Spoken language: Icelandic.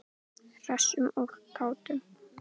Hressum og kátum.